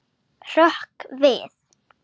Hrökk við.